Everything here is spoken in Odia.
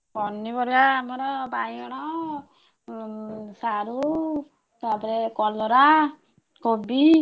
ପନିପରିବା ଆମର ବାଇଗଣ, ସାରୁ ତାପରେ କଲରା, କୋବି।